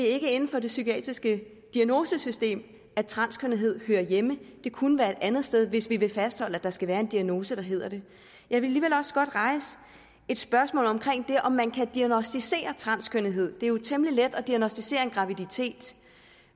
er inden for det psykiatriske diagnosesystem at transkønnethed hører hjemme det kunne være et andet sted hvis vi vil fastholde at der skal være en diagnose der hedder det jeg vil alligevel også godt rejse et spørgsmål omkring det om man kan diagnosticere transkønnethed det er jo temmelig let at diagnosticere en graviditet